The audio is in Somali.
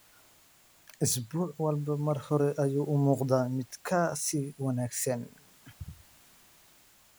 Isbuuc walba mar hore ayuu u muuqdaa mid ka sii wanaagsan.